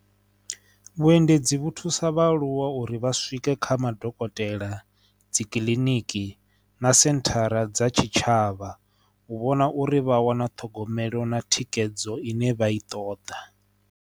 Vhuendedzi vhu thusa vha aluwa uri vha swike kha madokotela dzi kiḽiniki na senthara dza tshitshavha u vhona uri vha wana ṱhogomelo na thikhedzo ine vha i ṱoḓa.